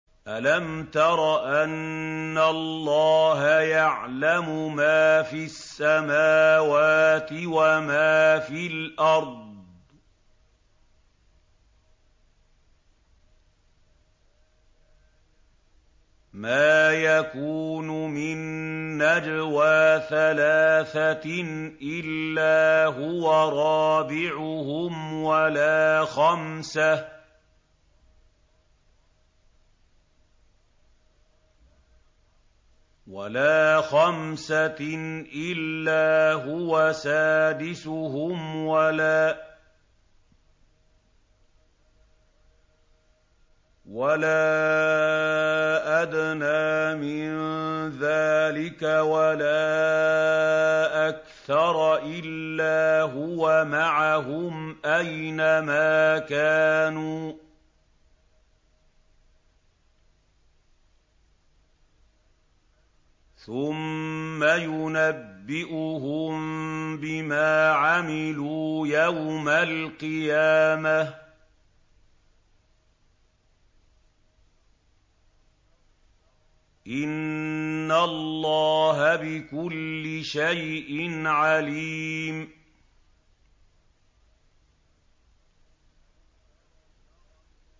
أَلَمْ تَرَ أَنَّ اللَّهَ يَعْلَمُ مَا فِي السَّمَاوَاتِ وَمَا فِي الْأَرْضِ ۖ مَا يَكُونُ مِن نَّجْوَىٰ ثَلَاثَةٍ إِلَّا هُوَ رَابِعُهُمْ وَلَا خَمْسَةٍ إِلَّا هُوَ سَادِسُهُمْ وَلَا أَدْنَىٰ مِن ذَٰلِكَ وَلَا أَكْثَرَ إِلَّا هُوَ مَعَهُمْ أَيْنَ مَا كَانُوا ۖ ثُمَّ يُنَبِّئُهُم بِمَا عَمِلُوا يَوْمَ الْقِيَامَةِ ۚ إِنَّ اللَّهَ بِكُلِّ شَيْءٍ عَلِيمٌ